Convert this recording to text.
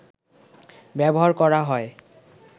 ব্যবহার করা হয়